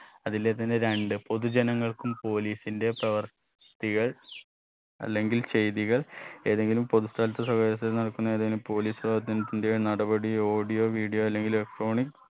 അതിലേത് തന്നെ രണ്ട് പൊതുജനങ്ങൾക്കും police ന്റെ പ്രവൃത്തികൾ അല്ലെങ്കിൽ ചെയ്തികൾ ഏതെങ്കിലും പൊതു സ്ഥലത്ത് നടക്കുന്ന ഏതെങ്കിലും police ന്റെ നടപടി audio video അല്ലെങ്കിൽ electronic